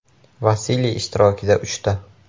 Vasiliy ishtirokida – uchta”.